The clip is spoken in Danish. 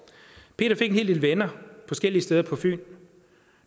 peter fik en hel del venner forskellige steder på fyn